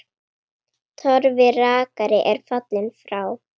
Torfi rakari er fallinn frá.